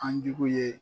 An jugu ye